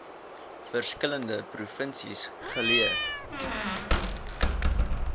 verskillende provinsies geleë